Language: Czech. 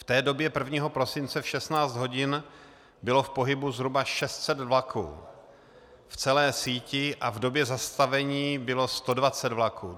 V té době, 1. prosince v 16 hodin, bylo v pohybu zhruba 600 vlaků v celé síti a v době zastavení bylo 120 vlaků.